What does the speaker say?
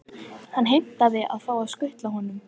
Hann heimtar að fá að skutla honum.